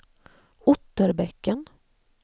Otterbäcken